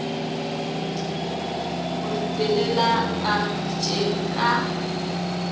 mo ripelela ka pitšeng ka